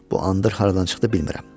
Bu andır haradan çıxdı, bilmirəm.